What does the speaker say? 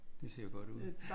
Det ser jo godt ud